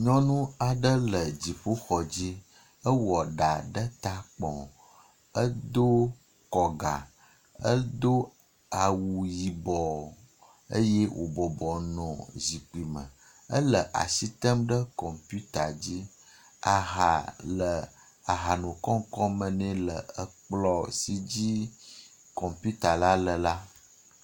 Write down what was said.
Nyɔnu aɖe le dziƒoxɔ dzi. Ewɔ ɖa ɖe ta kpɔ, edo kɔga, edo awu yibɔ eye wo bɔbɔnɔ zikpui me. Ele as item ɖe kɔmputa dzi. Aha le ahanokɔŋkɔŋ me nɛ le ekplɔ si dzi kɔmpita la le la.